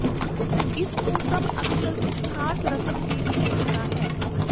ਇਸ ਨੂੰ ਸਭ ਅਕਸਰ ਕੁਝ ਖਾਸ ਰਸਮ ਦੀ ਵਿਸ਼ੇਸ਼ਤਾ ਹੈ